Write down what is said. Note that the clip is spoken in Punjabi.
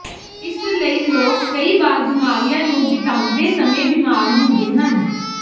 ਇਸ ਲਈ ਲੋਕ ਕਈ ਵਾਰ ਬਿਮਾਰੀਆਂ ਨੂੰ ਬਿਤਾਉਂਦੇ ਸਮੇਂ ਬਿਮਾਰ ਹੁੰਦੇ ਹਨ